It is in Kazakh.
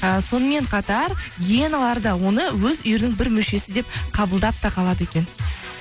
ы сонымен қатар гиеналар да оны өз үйірінің бір мүшесі деп те қабылдап та қалады екен